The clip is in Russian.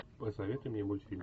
посоветуй мне мультфильм